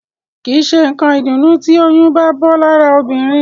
Kìí ṣé nǹkan ìdùnnú tí oyún bá bọ́ lára obìnrin